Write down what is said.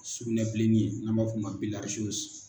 Sugunɛ bilenni ye n'a b'a fɔ o ma .